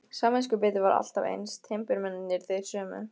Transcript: Samviskubitið var alltaf eins, timburmennirnir þeir sömu.